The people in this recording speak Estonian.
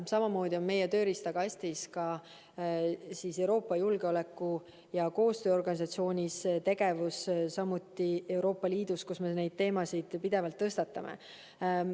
Samamoodi on meie tööriistakastis tegevus Euroopa Julgeoleku- ja Koostööorganisatsioonis ja Euroopa Liidus, kus me neid teemasid pidevalt tõstatame.